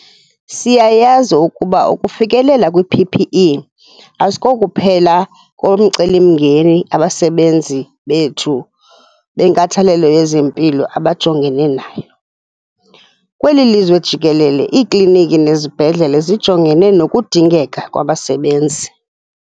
Siyayazi ukuba ukufikelela kwi-PPE asikokuphela komcelimngeni abasebenzi bethu benkathalelo yezempilo abajongene nayo. Kweli lizwe jikelele iikliniki nezibhedlele zijongene nokudingeka kwabasebenzi.